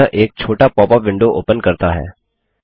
यह एक छोटा पॉप अप विंडो ओपन करता है